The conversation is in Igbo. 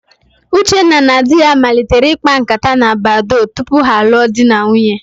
Uchenna na di ya malitere ịkpa ǹkátá na Badoo tupu ha alụọ di na nwunye.